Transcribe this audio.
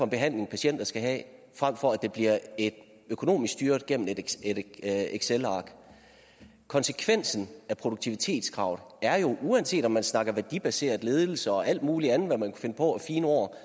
behandling patienter skal have frem for at det bliver økonomisk styret gennem et excelark konsekvensen af produktivitetskravet uanset om man snakker værdibaseret ledelse og alt muligt andet man kan finde på af fine ord